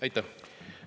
Aitäh!